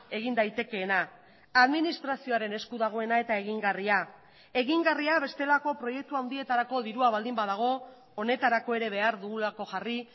egin daitekeena administrazioaren esku dagoena eta egingarria egingarria bestelako proiektua handietarako dirua baldin badago honetarako ere behar dugulako jarri